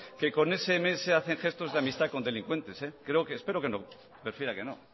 que con sms hacen gestos de amistad con delincuentes espero que no prefiera que no